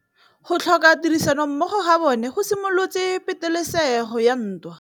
Go tlhoka tirsanommogo ga bone go simolotse patêlêsêgô ya ntwa.